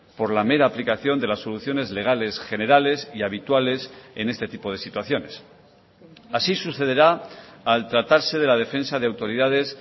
por la mera aplicación de las soluciones legales generales y habituales en este tipo de situaciones así sucederá al tratarse de la defensa de autoridades